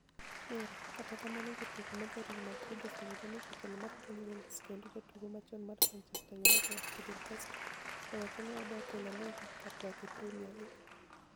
(Mirror) Kata kamano, jatugo ma ja Real Madrid, oseyudo nii jatelo mar piniy Wales kenido jatugo machoni mar Manichester Uniited, Fide Casto, osewachoni e nii odonig ' e La Liga kar dok e Premier League.